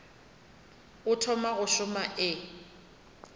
o thoma go šoma e